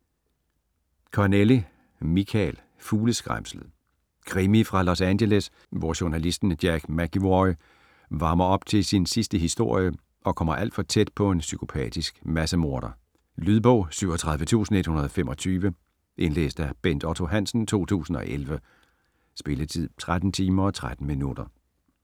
Connelly, Michael: Fugleskræmslet Krimi fra Los Angeles, hvor journalisten Jack McEvoy varmer op til sin sidste historie og kommer alt for tæt på en psykopatisk massemorder. Lydbog 37125 Indlæst af Bent Otto Hansen, 2011. Spilletid: 13 timer, 13 minutter.